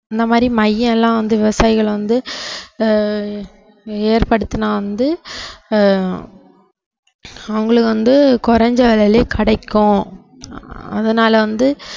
இந்த மாதிரி மையம்லாம் வந்து விவசாயிகளை வந்து ஆஹ் ஏற்படுத்தினா வந்து ஆஹ் அவங்களுக்கு வந்து குறைந்த விலையிலேயே கிடைக்கும் அதனால வந்து